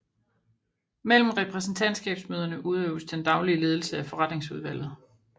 Mellem repræsentantskabsmøderne udøves den daglige ledelse af forretningsudvalget